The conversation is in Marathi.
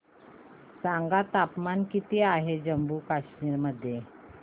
सांगा तापमान किती आहे जम्मू आणि कश्मीर मध्ये